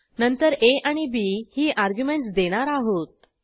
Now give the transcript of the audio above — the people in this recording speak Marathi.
नंतर आ आणि बी ही अर्ग्युमेंटस देणार आहोत